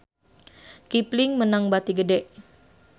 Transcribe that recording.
Kipling meunang bati gede